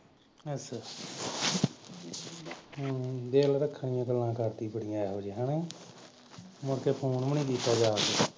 ਅਛਾ ਅਛਾ ਹਮ ਦੇਖਲੋ ਇਹੋ ਜਿਹੇ ਹੈਨਾ ਮੁੜ ਕੇ ਫੋਨ ਵੀ ਨੀ ਕੀਤਾ ਜਾ